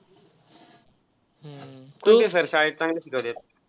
कुठले sir शाळेत चांगल शिकवतात?